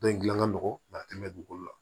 Dɔn in gilan ka nɔgɔ dugukolo la